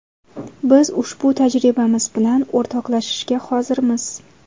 Biz ushbu tajribamiz bilan o‘rtoqlashishga hozirmiz.